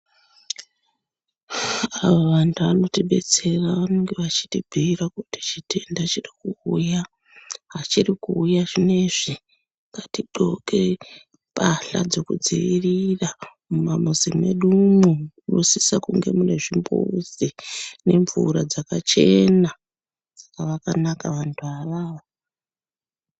Vantu vanotidetsera vanenge veitibhiira kuti chitenda chiri kuuya hachiri kuuya zvinezvi ngati gqoke pahla dzekudziirira mumamuzi mwedumwo munosisa kuva mune zvimbuzi nemvura dzakachena vakanaka vantu avavo.